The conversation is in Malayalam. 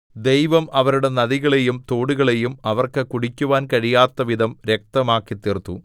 ദൈവം അവരുടെ നദികളെയും തോടുകളെയും അവർക്ക് കുടിക്കുവാൻ കഴിയാത്തവിധം രക്തമാക്കിത്തീർത്തു